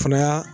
Fana y'a